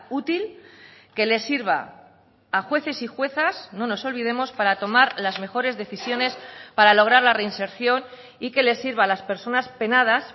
útil que les sirva a jueces y juezas no nos olvidemos para tomar las mejores decisiones para lograr la reinserción y que les sirva a las personas penadas